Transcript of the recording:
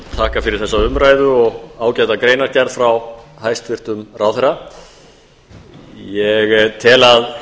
þakka fyrir þessa umræðu og ágæta greinargerð frá hæstvirtum ráðherra ég tel að